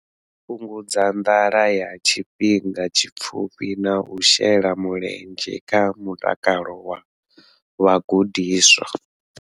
Fhungudza nḓala ya tshifhinga tshipfufhi na u shela mulenzhe kha mutakalo wa vhagudiswa.